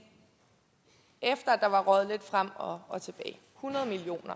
efter at der var røget lidt frem og og tilbage hundrede million